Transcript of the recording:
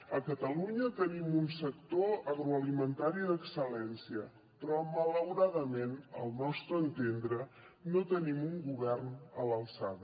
a catalunya tenim un sector agroalimentari d’excel·lència però malauradament al nostre entendre no tenim un govern a l’alçada